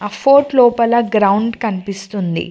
ఆ ఫోర్ట్ లోపల గ్రౌండ్ కనిపిస్తుంది.